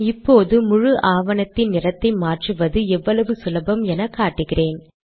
இப்போது முழு ஆவணத்தின் நிறத்தை மாற்றுவது எவ்வளவு சுலபம் எனக்காட்டுகிறேன்